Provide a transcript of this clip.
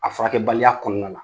A furakɛbaliya kɔnɔna na